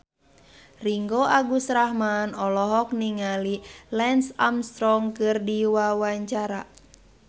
Ringgo Agus Rahman olohok ningali Lance Armstrong keur diwawancara